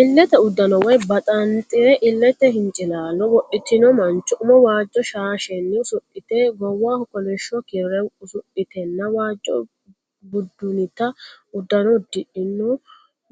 Illete uddano woy baxaanxure (illete hincilaallo) wodhitinno mancho umo waajjo shaashshenni usudhite, goowaho kolishsho kirre usudhitenna waajjo budunnita uddano uddino